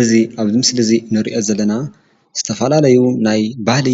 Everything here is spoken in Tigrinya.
እዚ ኣብዚ ምስሊ እዚ ንሪኦ ዘለና ዝተፈላለዩ ናይ ባህሊ